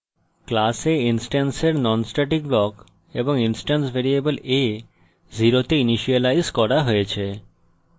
class a ইনস্ট্যান্সের non static block এবং instance variable a 0 তে ইনিসিয়েলাইজ করা হয়েছে